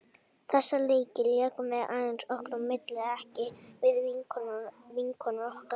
Þessa leiki lékum við aðeins okkar á milli, ekki við vinkonur okkar.